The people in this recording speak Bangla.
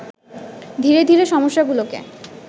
ধীরে ধীরে সমস্যাগুলোকে